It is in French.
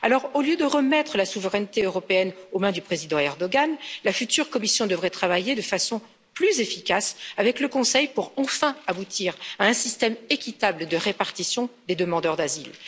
Alors, au lieu de remettre la souveraineté européenne aux mains du président Erdoğan, la future Commission devrait travailler de façon plus efficace avec le Conseil pour enfin aboutir à un système équitable de répartition des demandeurs d'asile.